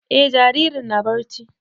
E jaririn na barci